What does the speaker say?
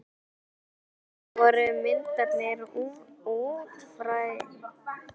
Á eftir voru myndirnar útfærðar bak við hús.